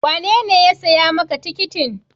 Wanene ya siya ma ka tikitin?